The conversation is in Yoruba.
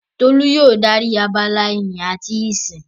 Tolú yóò dárí abala ìyìn àti ìsìn.